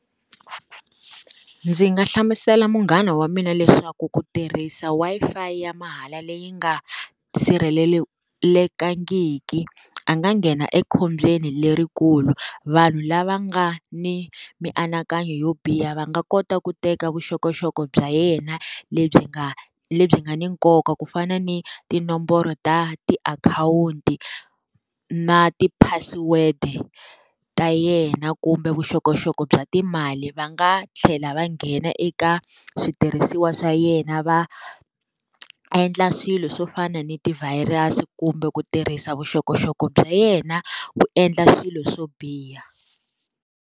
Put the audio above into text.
Ndzi nga hlamusela munghana wa mina leswaku ku tirhisa Wi-Fi ya mahala leyi nga sirhelelekangiki, a nga nghena ekhombyeni lerikulu. Vanhu lava nga ni mianakanyo yo biha va nga kota ku teka vuxokoxoko bya yena lebyi nga lebyi nga ni nkoka ku fana ni tinomboro ta tiakhawunti na ti password ta yena kumbe vuxokoxoko bya timali. Va nga tlhela va nghena eka switirhisiwa swa yena va, endla swilo swo fana ni ti-virus kumbe ku tirhisa vuxokoxoko bya yena ku endla swilo swo biha.